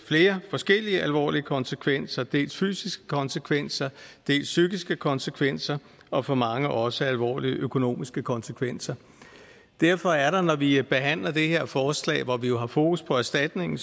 flere forskellige alvorlige konsekvenser dels fysiske konsekvenser dels psykiske konsekvenser og for mange også alvorlige økonomiske konsekvenser derfor er der når vi behandler det her forslag hvor vi har fokus på erstatningen